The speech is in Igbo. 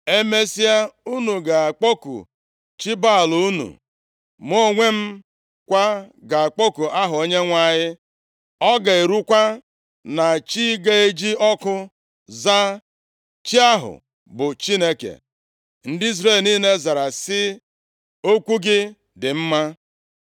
Emesịa, unu ga-akpọku chi Baal + 18:24 Baal, bụ chi egbe eluigwe, nke ọtụtụ ndị Siria na ndị Kenan na-efe. unu, mụ onwe m kwa ga-akpọku aha Onyenwe anyị. Ọ ga-erukwa na chi ga-eji ọkụ za, chi ahụ bụ Chineke.” Ndị Izrel niile zara sị, “Okwu gị dị mma.”